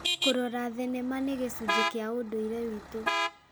Kũrora thenema nĩ gĩcunjĩ kĩa ũndũire witũ.